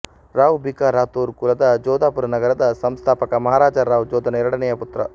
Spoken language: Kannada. ರಾವ್ ಬಿಕಾ ರಾಥೋರ್ ಕುಲದ ಜೋಧಪುರ ನಗರದ ಸಂಸ್ಥಾಪಕ ಮಹಾರಾಜ ರಾವ್ ಜೋಧನ ಎರಡನೆಯ ಪುತ್ರ